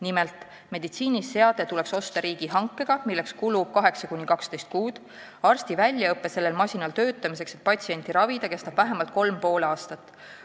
Nimelt, meditsiiniseade tuleks osta riigihankega, milleks kulub 8–12 kuud, arsti väljaõpe sellel masinal töötamiseks, et patsienti ravida, kestab vähemalt 3,5 aastat.